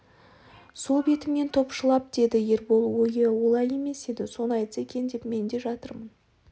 сол бетімен топшылап деді ербол ойы олай емес еді соны айтса екен деп мен де жатырмын